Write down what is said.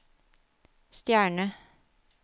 stjerne